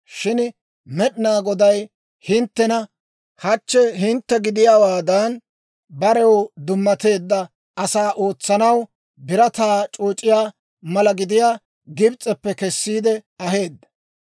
Shin Med'inaa Goday hinttena hachchi hintte gidiyaawaadan, barew dummateedda asaa ootsanaw birataa c'ooc'iyaa mala gidiyaa Gibs'eppe kessiide aheedda.